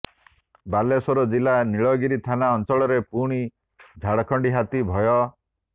ବାଲେଶ୍ବର ଜିଲ୍ଲା ନୀଳଗିରି ଥାନା ଅଞ୍ଚଳରେ ପୁଣି ଝାଡଖଣ୍ଡି ହାତୀ ଭୟ